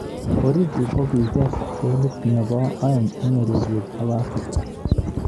Origi kokikre kolit nebo aeng eng ureriet ab Africa.